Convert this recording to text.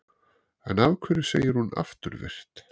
En af hverju segir hún afturvirkt?